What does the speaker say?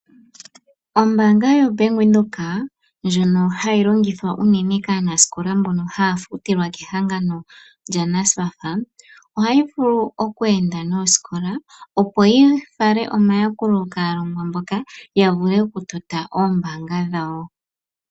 Ombaanga yoBank Windhoek ndjoka hayi longithwa unene kaanasikola mbono haya futilwa kehangano lyaNSFAF ohayi vulu okuenda niiputudhilo yopombanda, opo yi fale omayakulo kaalongwa mboka ya vule okutota omayalulo gawo gombaanga.